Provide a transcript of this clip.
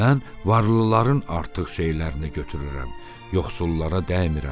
Mən varlıların artıq şeylərini götürürəm, yoxsullara dəymirəm.